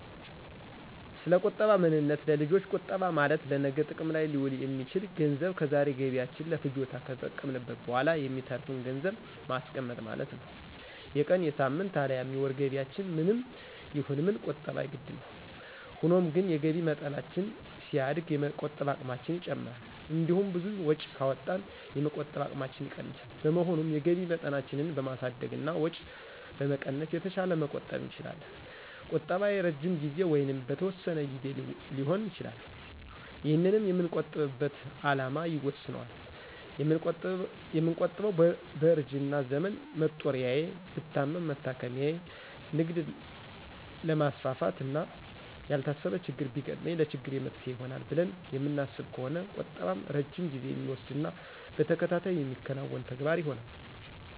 ሰለቁጠባ ምንነት ለልጆች ቁጠባ ማለት ለነገ ጥቅም ላይ ሊውል የሚችል ገንዘብ ከዛሬ ገቢያችን ለፍጆታ ከተጠቀምንት በኋላ የሚተርፍን ገንዘብን ማስቀመጥ ማለት ነው። የቀን፣ የሳምንት፣ አልያም የወር ገቢያችን ምንም ይሁን ምን ቁጠባ የግድ ነው። ሆኖም ግን የገቢ መጠናችን ሲያድግ የመቆጠብ አቅማችን ይጨምራል። እንዲሁም ብዙ ወጪ ካወጣን የመቆጠብ አቅማችን ይቀንሳል። በመሆኑም የገቢ መጠናችንን በማሳደግና ወጪ በመቀነስ የተሻለ መቆጠብ እንችላለን። ቁጠባ የረጅም ጊዜ ወይንም በተወሰነ ግዜ ሊሆን ይችላል። ይህንንም የምንቆጥብበት አላማ ይወስነዋል። የምንቆጥበው በእርጅና ዘመን መጦሪያዬ፣ ብታመም መታከሚያየ፣ ንግድ ላማስፋፋት፣ እና ያልታሰበ ችግር ቢገጥመኝ ለችግሬ መፍትሔ ይሆናል ብለን የምናስብ ከሆነ ቁጠባም ረጅም ጊዜ የሚወስድና በተከታታይ የሚከናወን ተግባር ይሆናል።